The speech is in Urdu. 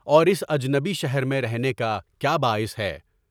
اور اس اجنبی شہر میں رہنے کا کیا باعث ہے؟